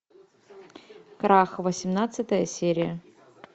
крах восемнадцатая серия